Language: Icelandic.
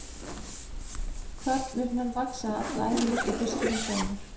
Kvarnirnar vaxa alla ævi líkt og fiskurinn sjálfur.